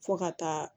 Fo ka taa